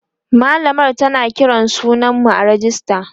mallamar tana Kiran sunan mu a rejista